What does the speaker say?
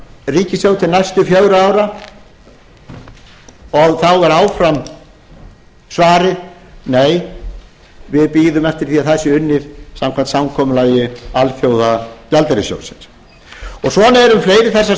ríkissjóð til næstu fjögurra ára þá er áfram svarið nei við bíðum eftir því að það sé unnið samkvæmt samkomulagi alþjóðagjaldeyrissjóðsins svona er um fleiri þessar